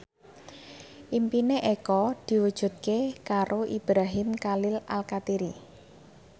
impine Eko diwujudke karo Ibrahim Khalil Alkatiri